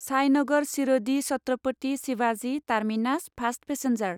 Sainagar Shirdi Chhatrapati Shivaji terminus fast passenger